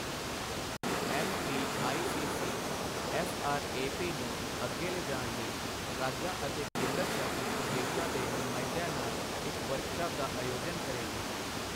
MPICC SRAP ਨੂੰ ਅੱਗੇ ਲਿਜਾਣ ਲਈ ਰਾਜਾਂ ਅਤੇ ਕੇਂਦਰ ਸ਼ਾਸਿਤ ਪ੍ਰਦੇਸ਼ਾਂ ਦੇ ਨੁਮਾਇੰਦਿਆਂ ਨਾਲ ਇੱਕ ਵਰਕਸ਼ਾਪ ਦਾ ਆਯੋਜਨ ਕਰੇਗੀ।